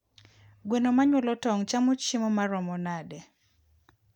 Gwen manyuolo tong chamo chiemo maromo nade?